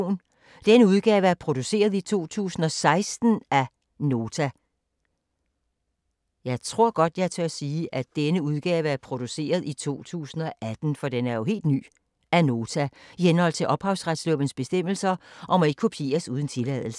Denne udgave er produceret i 2016 af Nota i henhold til ophavsretslovens bestemmelser og må ikke kopieres uden tilladelse.